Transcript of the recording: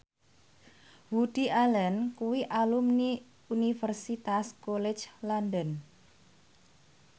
Woody Allen kuwi alumni Universitas College London